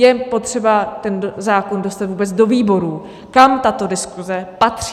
Je potřeba ten zákon dostat vůbec do výborů, kam tato diskuze patří.